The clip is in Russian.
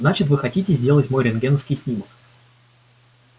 значит вы хотите сделать мой рентгеновский снимок